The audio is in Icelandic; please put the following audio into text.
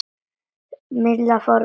Milla fór að flissa.